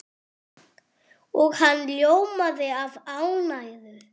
Og hann ljómaði af ánægju.